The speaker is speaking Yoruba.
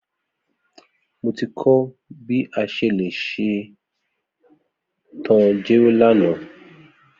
Mo ti kọ bi a ṣe le ṣetan jero lana.